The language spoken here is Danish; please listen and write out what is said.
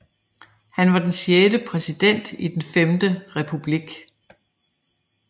Han var den sjette præsident i Den Femte Republik